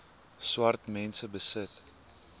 swart mense besit